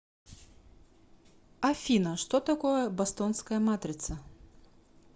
афина что такое бостонская матрица